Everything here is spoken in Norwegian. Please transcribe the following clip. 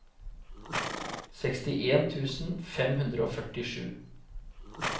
sekstien tusen fem hundre og førtisju